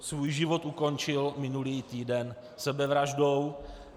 Svůj život ukončil minulý týden sebevraždou.